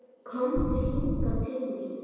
Komdu hingað til mín!